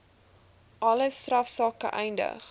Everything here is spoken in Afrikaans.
alle strafsake eindig